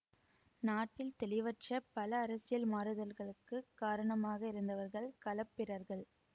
நாட்டில் தெளிவற்ற பல அரசியல் மாறுதல்களுக்குக் காரணமாக இருந்தவர்கள் களப்பிரர்கள்